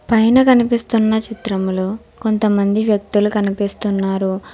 పైన కనిపిస్తున్న చిత్రంలో కొంతమంది వ్యక్తులు కనిపిస్తున్నారు.